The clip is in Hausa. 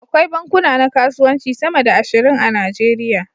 Akwai bankuna na kasuwanci sama da ashirin a Najeriya.